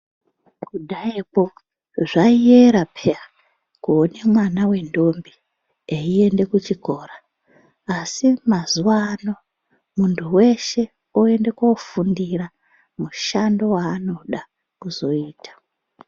Kudhayakwo zvaiyera peya kuona mwana wendombi eiende kuchikora. Asi mazuwa ano muntu weshe oende kundofundira mushando waanode kuzoita.